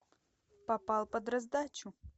попал под раздачу